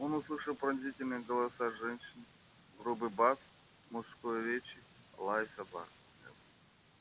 он услышал пронзительные голоса женщин грубый бас мужской речи лай собак